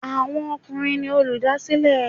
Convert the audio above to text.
Àwọn ọkùnrin ni olùdásílẹ̀.